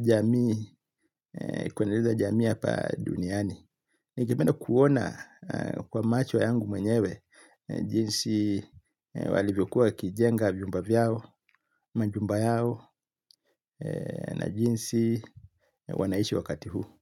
jamii kuendeleza jamii hapa duniani. Ningependa kuona kwa macho yangu mwenyewe jinsi walivyokuwa wakijenga vyumba vyao, majumba yao na jinsi wanaishi wakati huu.